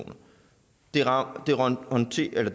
var